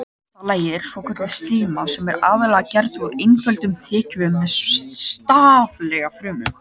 Innsta lagið er svokölluð slíma sem er aðallega gerð úr einföldum þekjuvef með staflaga frumum.